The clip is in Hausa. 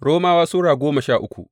Romawa Sura goma sha uku